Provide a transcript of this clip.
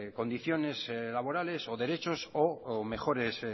condiciones laborales o derechos o mejores